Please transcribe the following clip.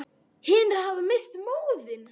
Hinir hafa misst móðinn.